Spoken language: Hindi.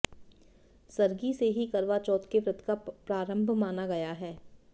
सरगी से ही करवा चौथ के व्रत का प्रारंभ माना गया है